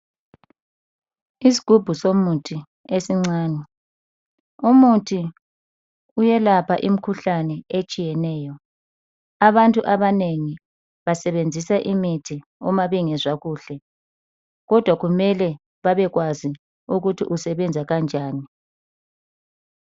Isgubhu somuthi esincani. Umuthi uyelapha imkhuhlani etshiyeneyo. Abantu abanengi basebenzisa imithi uma bengezwa kuhle. Kodwa kumele babekwazi ukuthi usebenza kanjani.